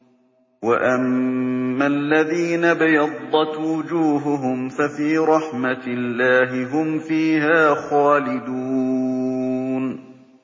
وَأَمَّا الَّذِينَ ابْيَضَّتْ وُجُوهُهُمْ فَفِي رَحْمَةِ اللَّهِ هُمْ فِيهَا خَالِدُونَ